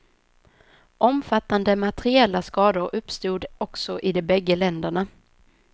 Omfattande materiella skador uppstod också i de bägge länderna.